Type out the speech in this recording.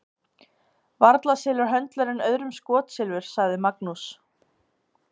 Varla selur höndlarinn öðrum skotsilfur, sagði Magnús.